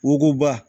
Wonkuba